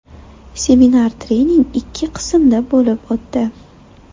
Seminar-trening ikki qismda bo‘lib o‘tdi.